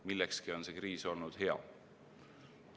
Millekski on see kriis olnud hea.